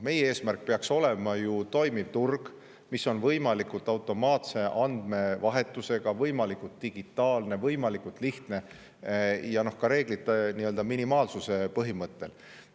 Meie eesmärk peaks olema ju toimiv turg, mis on võimalikult automaatse andmevahetusega, võimalikult digitaalne ja lihtne ning mis toimiks ka reeglite minimaalsuse põhimõttel.